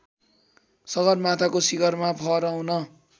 सगरमाथाको शिखरमा फहराउन